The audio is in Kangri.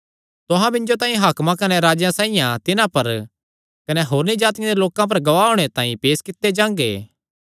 तुहां मिन्जो तांई हाकमां कने राजेयां साइआं तिन्हां पर कने होरनी जातिआं दे लोकां पर गवाह होणे तांई पेस कित्ते जांगे